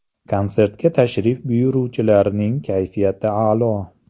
Konsertga tashrif buyuruvchilarning kayfiyati a’lo.